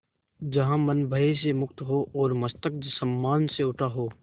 जहाँ मन भय से मुक्त हो और मस्तक सम्मान से उठा हो